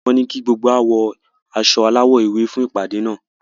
Wọ́n ní kí gbogbo wá wọ aṣọ alawọ ewé fún ìpàdé náà